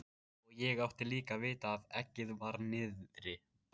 Og ég átti líka að vita að eggið var niðri.